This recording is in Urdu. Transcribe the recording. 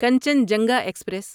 کنچنجنگا ایکسپریس